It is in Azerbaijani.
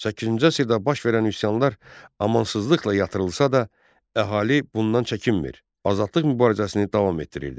Səkkizinci əsrdə baş verən üsyanlar amansızlıqla yatırılsa da, əhali bundan çəkinmir, azadlıq mübarizəsini davam etdirirdi.